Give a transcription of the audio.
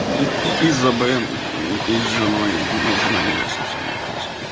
из-за бен и с женой ну жена не версус ну хуй с ней